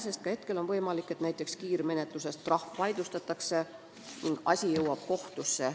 Ka praegu on võimalik, et näiteks kiirmenetluses määratud trahv vaidlustatakse ning asi jõuab kohtusse.